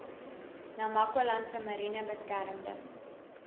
namakwalandse mariene beskermde